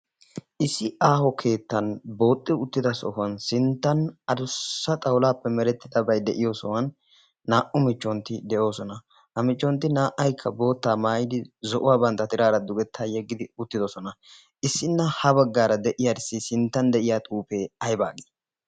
issi aaho keettan booxxi uttida sohuwan sinttan adussa xawulaappe merettidabai de7iyo sohuwan naa77u michchontti de7oosona. ha michchontti naa77aikka boottaa maayidi zo7uwaa bantta tiraara dugettaa yeggidi uttidosona. issinna ha baggaara de7iyaarissi sinttan de7iya xuufee aibaa gii?